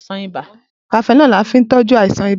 Cafenol ni a fin tọ́jú àìsàn ibà